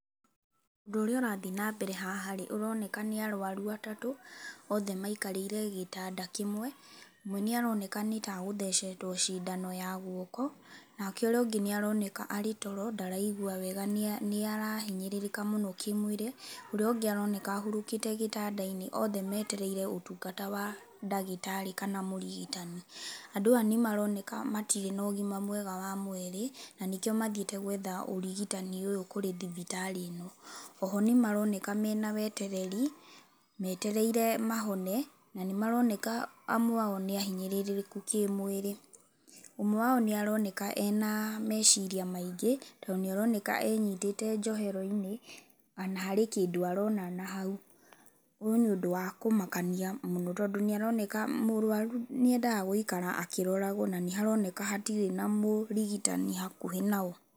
Ũndũ ũrĩa ũrathiĩ nambere haha rĩ, ũroneka nĩ arũaru atatũ othe maikarĩire gĩtanda kĩmwe. Ũmwe nĩ aroneka nĩ ta egũthecetwo cindano ya guoko. Nake ũrĩa ũngĩ nĩ aroneka arĩ toro ndaraigua wega nĩ arahinyĩrĩrĩka mũno kĩmwĩrĩ, ũrĩa ũngĩ aroneka ahurũkĩte gĩtanda-inĩ. Othe metereire ũtungata wa ndagĩtarĩ kana mũrigitani. Andũ aya nĩ maroneka matirĩ na ũgima mwega wa mwĩrĩ na nĩkĩo mathiĩte gwetha ũrigitani ũyũ kũrĩ thibitarĩ ĩno. Oho nĩ maroneka mena wetereri metereire mahone na nĩmaroneka amwe ao nĩ ahinyĩrĩrĩku kĩmwĩrĩ. Ũmwe wao nĩ aroneka ena meciria maingĩ tondũ nĩ aroneka enyitĩte njohero-inĩ ona harĩ kĩndũ arona na hau. Ũyũ nĩ ũndũ wa kũmakania mũno tondũ nĩ aroneka mũrũaru nĩendaga gũikara akĩroragwo na nĩ haroneka hatirĩ na mũrigitani hakuhĩ nao.